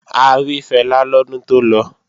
A rí Fẹlá lọ́dún tó lọ